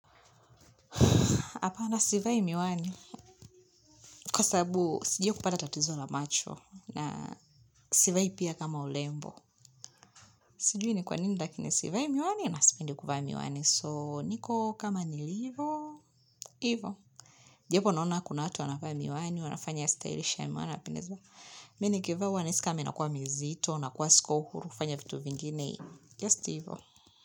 Hapana sivai miwani kwasabu sijawahi kupata tatizo la macho na sivai pia kama urembo sijui ni kwanini lakini sivai miwani nasipendi kuvaa miwani so niko kama nilivyo ivo japo nona kuna watu wanavaa miwani wanafanya stylish na nimeona wana wanapendeza mi nikivaa nahisi kama inakua mizito nakua siko huru kufanya vitu vingine just hivyo.